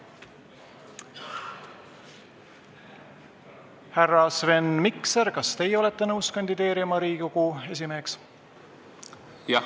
Härra Sven Mikser, kas teie olete nõus kandideerima Riigikogu esimeheks?